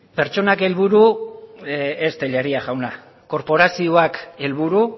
pertsonak helburu ez tellería jauna korporazioak helburu